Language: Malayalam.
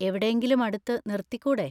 എവിടെയെങ്കിലും അടുത്ത് നിർത്തിക്കൂടെ?